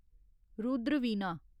Rudra Veena